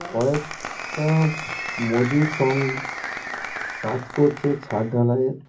কয়েক টা মজুর সং কাজ করছে ছাদ ঢালাইয়ের।